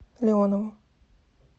леонову